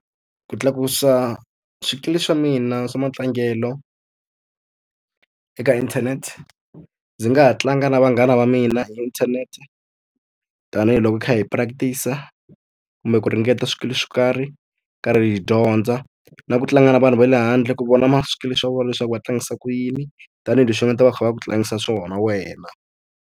Ku tlakusa swikili swa mina swa matlangelo eka inthanete, ndzi nga ha tlanga na vanghana va mina hi inthanete. Tanihi loko hi kha hi practice-a, kumbe ku ringeta swikili swo karhi, hi karhi hi dyondza. Na ku tlanga na vanhu va le handle ku vona swikili swa vona leswaku va tlangisa ku yini, tanihileswi va nga ta va kha va ku tlangisa swona wena.